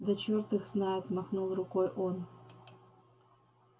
да черт их знает махнул рукой он